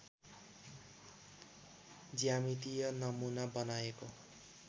ज्यामितीय नमूना बनाएको